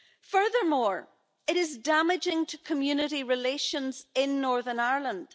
Furthermore, it is damaging to community relations in Northern Ireland.